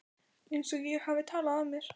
Einsog ég hafi talað af mér.